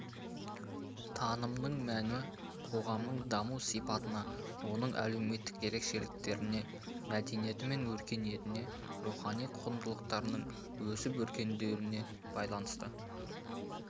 танымның мәні қоғамның даму сипатына оның әлеуметтік ерекшеліктеріне мәдениеті мен өркениетіне рухани құндылықтардың өсіп-өркендеуіне байланысты